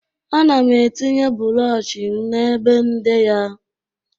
Ana m etinye bụrọshị m n'ebe nde ya.